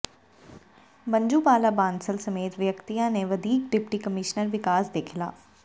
ਮੰਜੂ ਬਾਲਾ ਬਾਂਸਲ ਸਮੇਤ ਵਿਅਕਤੀਆਂ ਨੇ ਵਧੀਕ ਡਿਪਟੀ ਕਮਿਸ਼ਨਰ ਵਿਕਾਸ ਦੇ ਖਿਲਾਫ਼